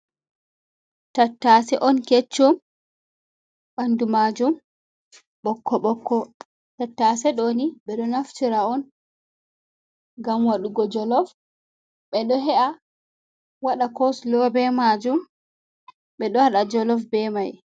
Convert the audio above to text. Tattase on keccum, ɓandu majum ɓokko ɓokko, tattase ɗoni ɓeɗo naftira on gam wadugo jolof, ɓe ɗo he’a waɗa kosulo be majum, ɓe ɗo waɗa jolof be mai.